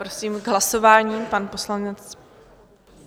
Prosím, k hlasování pan poslanec.